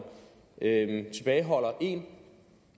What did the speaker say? tilbageholder en